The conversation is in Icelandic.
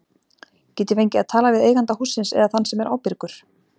Get ég fengið að tala við eiganda hússins eða þann sem er ábyrgur?